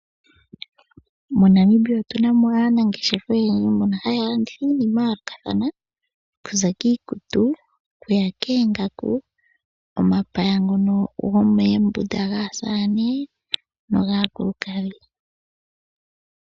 MoNamibia otunamo aanangeshefa oyendji mbono haya landitha iinima yayoolokathana. Okuza kiikutu, okuya koongaku, omapaya ngono gomoombunda gaasamane, nogaakulukadhi.